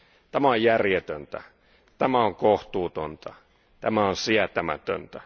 Tämä on järjetöntä, tämä on kohtuutonta, tämä on sietämätöntä.